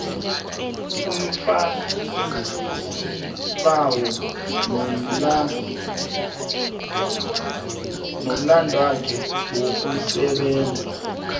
umfakisibawo nomlandwakhe wokusebenza